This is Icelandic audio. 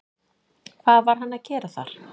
Hvað var hann að gera þar?